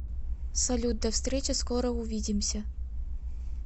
салют до встречи скоро увидимся